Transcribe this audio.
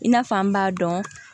I n'a f'an b'a dɔn